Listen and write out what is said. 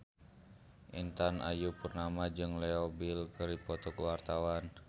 Intan Ayu Purnama jeung Leo Bill keur dipoto ku wartawan